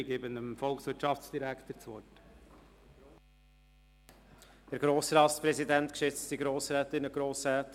Ich erteile dem Volkswirtschaftsdirektor das Wort.